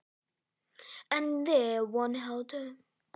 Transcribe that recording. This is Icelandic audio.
Og þarna hélt einn utan um hana.